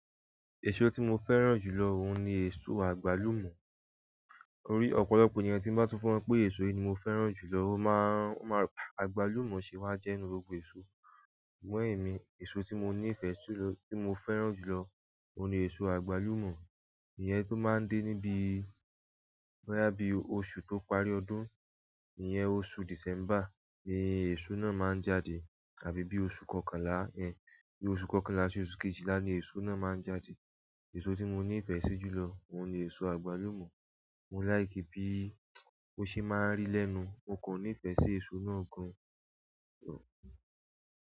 Èso tí mo fẹ́ràn jù lọ òun ni èso àgbálùmò. Orí ọ̀pọ̀lọpọ̀ ènìyàn tí ń bá tún fọ́n pé èso yìí ni mo fẹ́ràn jù lọ, ó máa ń, ó máa ń pa, àgbálùmò ṣe máa jẹ́ ìnú rògbò èso. Fún èmí èso ti mo ni fe jù lọ tí mo fẹ́ràn jùlọ òun ni eso agbalumo ìyẹn tó máa ń dé níbí, bo ya bi oṣù tó parí ọdún, ìyẹn oṣù December ni èso náà máa ń jáde àbí bí oṣù kọkànlá, ẹ̀, bí oṣù kọkànlá sí oṣù kejìlá ni èso náà máa ń jáde. Èso tí mo ní ìfẹ́ sí jù lọ òun ni èso àgbálùmò. Mo like bí ó ṣe máa ń rì lẹ́nu, mo kàn níìfẹ̀ sí èso náà gan.